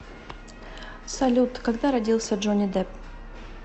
салют когда родился джонни депп